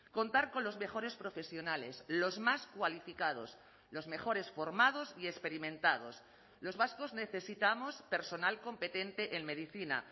contar con los mejores profesionales los más cualificados los mejores formados y experimentados los vascos necesitamos personal competente en medicina